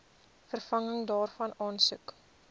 vervanging daarvan aansoek